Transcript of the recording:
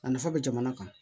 A nafa bɛ jamana kan